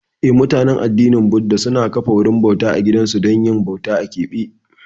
Eh, mabiya addinin Buda suna kafa wurin bauta a gidansu don yin bauta a keɓe.